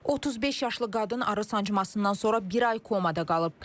35 yaşlı qadın arı sancmasından sonra bir ay komada qalıb.